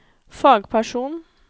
fagperson